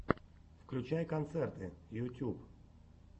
включай концерты ютьюб